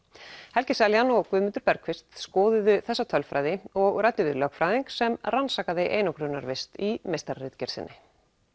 helgi Seljan og Guðmundur skoðuðu þessa tölfræði og ræddu við lögfræðing sem rannsakaði einangrunarvist í meistararitgerð sinni